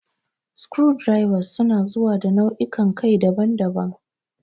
Screwdrivers su na zuwa da nau'ikan kai daban-daban.